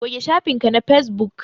Goge shafin ka na Facebook